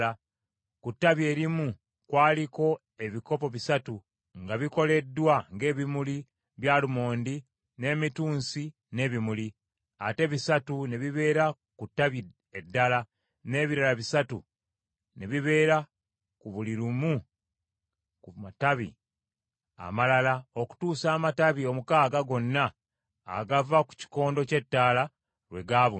Ku ttabi erimu kwaliko ebikopo bisatu nga bikoleddwa ng’ebimuli by’alumondi n’emitunsi n’ebimuli, ate bisatu ne bibeera ku ttabi eddala, n’ebirala bisatu ne bibeera ku buli limu ku matabi amalala okutuusa amatabi omukaaga gonna agava ku kikondo ky’ettaala lwe gaabuna.